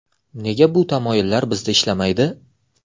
Nega bu tamoyillar bizda ishlamaydi?